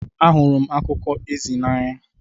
Ahụrụ m akụkọ ezi n'anya.